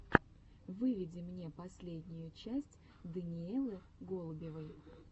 выведи мне последнюю часть даниэлы голубевой